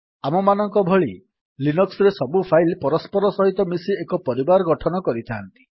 ଆମମାନଙ୍କ ଭଳି ଲିନକ୍ସ୍ ରେ ସବୁ ଫାଇଲ୍ ପରସ୍ପର ସହିତ ମିଶି ଏକ ପରିବାର ଗଠନ କରିଥାନ୍ତି